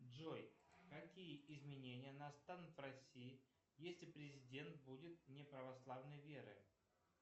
джой какие изменения настанут в россии если президент будет не православной веры